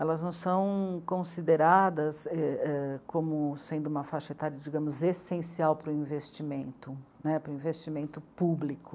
Elas não são consideradas é... como sendo uma faixa etária, digamos, essencial para o investimento né, para o investimento público.